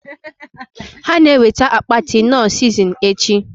Ha na eweta akpati knorr sizinin echi